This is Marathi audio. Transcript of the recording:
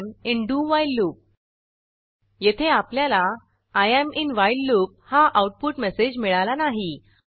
I am in do while loop येथे आपल्याला I am in while loop हा आऊटपुट मेसेज मिळाला नाही